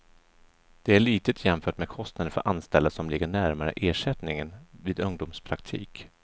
Det är litet jämfört med kostnaden för anställda och ligger närmare ersättningen vid ungdomspraktik.